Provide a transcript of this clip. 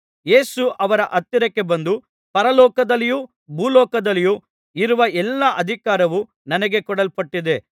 ಯೇಸು ಅವರ ಹತ್ತಿರಕ್ಕೆ ಬಂದು ಪರಲೋಕದಲ್ಲಿಯೂ ಭೂಲೋಕದಲ್ಲಿಯೂ ಇರುವ ಎಲ್ಲಾ ಅಧಿಕಾರವು ನನಗೆ ಕೊಡಲ್ಪಟ್ಟಿದೆ